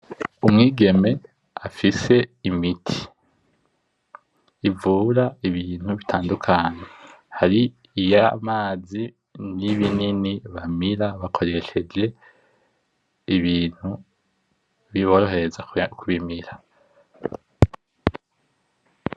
Umwigeme afise imiti ivura ibintu bitandukanye hari iyamazi, nibinini bamira bakoresheje ibintu biborohereza kubimira.